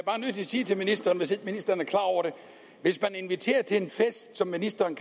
sige til ministeren hvis ikke ministeren er klar over det hvis man inviterer til en fest som ministeren